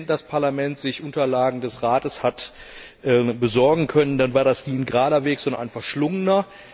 wenn das Parlament sich Unterlagen des Rates hat besorgen können, dann war das nie ein gerader Weg, sondern ein verschlungener.